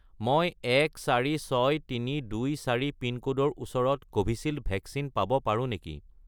মই 146324 পিনক'ডৰ ওচৰত কোভিচিল্ড ভেকচিন পাব পাৰোঁ নেকি?